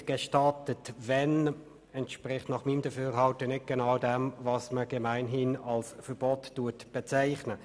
] nicht gestattet, wenn […]» entspricht nach meinem Dafürhalten nicht genau dem, was man gemeinhin als Verbot bezeichnet.